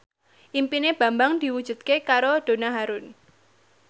impine Bambang diwujudke karo Donna Harun